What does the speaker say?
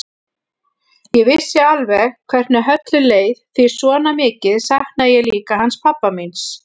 Ég vissi alveg hvernig Höllu leið því svona mikið saknaði ég líka hans pabba míns.